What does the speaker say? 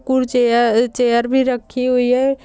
कुर्सियां चेयर भी रखी हुई है।